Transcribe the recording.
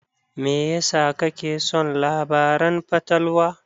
Me yasa kake son labaran fatalwa?